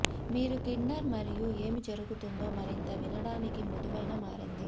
మీరు కిండర్ మరియు ఏమి జరుగుతుందో మరింత వినడానికి మృదువైన మారింది